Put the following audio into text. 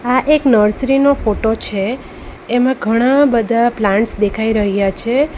આ એક નર્સરી નો ફોટો છે એમાં ઘણા બધા પ્લાન્ટ્સ દેખાઈ રહ્યા છે.